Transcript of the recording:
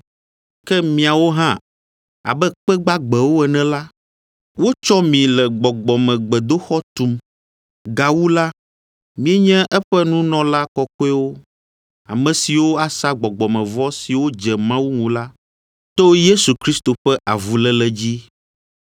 Ke miawo hã, abe kpe gbagbewo ene la, wotsɔ mi le gbɔgbɔmegbedoxɔ tum. Gawu la, mienye eƒe nunɔla kɔkɔewo, ame siwo asa gbɔgbɔmevɔ siwo dze Mawu ŋu la to Yesu Kristo ƒe avuléle dzi.